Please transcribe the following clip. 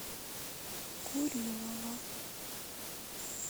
курилова